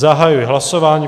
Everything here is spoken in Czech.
Zahajuji hlasování.